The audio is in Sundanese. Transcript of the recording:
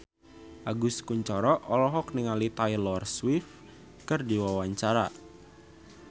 Agus Kuncoro olohok ningali Taylor Swift keur diwawancara